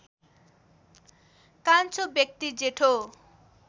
कान्छो व्यक्ति जेठो